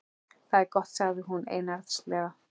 Það er gott sagði hún einarðlega.